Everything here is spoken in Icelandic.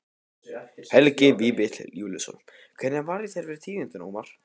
Helgi Vífill Júlíusson: Hvernig varð þér við tíðindin, Ómar?